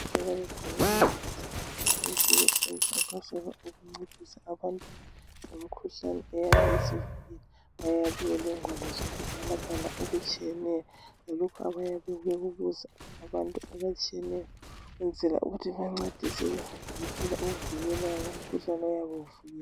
Abezempilakahle bayavakatshela abantu ukuba babancedise ngemikhuhlane eyabe ibahlasela njalo bayabe bebabuza ngaleyo mikhuhlane ukuze bancediseke.